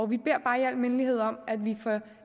vi beder bare i al mindelighed om at vi får